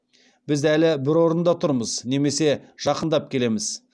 біз әлі бір орында тұрмыз немесе жақындап келеміз